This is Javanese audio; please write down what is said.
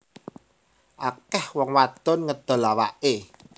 Akeh wong wadon ngedol awake